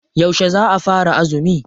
Yauce za a fara azumi?